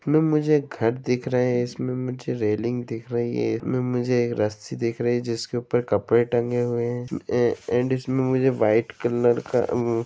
इसमें मुझे एक घर दिख रहे है इसमें मुझे रेलिंग दिख रही है इसमें मुझे एक रस्सी दिख रही है जिसके ऊपर कपड़े टंगे हुए है ऐ एन्ड इसमें मुझे वाईट कलर का--